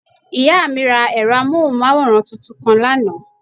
Ìyá mí ra ẹ̀rọ amóhùnmáwòrán tuntun kan lánàá